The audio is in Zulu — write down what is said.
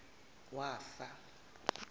wafa